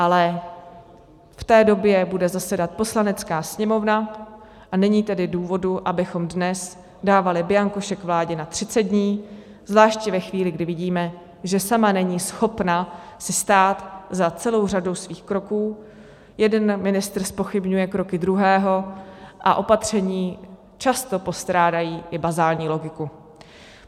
Ale v té době bude zasedat Poslanecká sněmovna, a není tedy důvodu, abychom dnes dávali bianko šek vládě na 30 dní, zvláště ve chvíli, kdy vidíme, že sama není schopna si stát za celou řadou svých kroků, jeden ministr zpochybňuje kroky druhého a opatření často postrádají i bazální logiku.